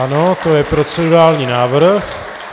Ano, to je procedurální návrh.